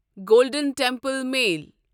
golden Temple mail